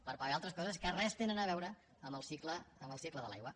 per pagar altres coses que res tenen a veure amb el cicle de l’aigua